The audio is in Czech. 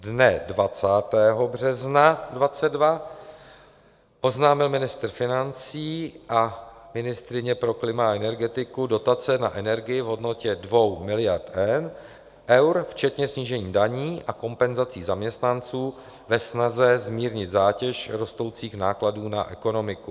Dne 20. března 2022 oznámil ministr financí a ministryně pro klima a energetiku dotace na energii v hodnotě 2 miliard eur včetně snížení daní a kompenzací zaměstnanců ve snaze zmírnit zátěž rostoucích nákladů na ekonomiku.